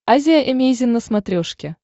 азия эмейзин на смотрешке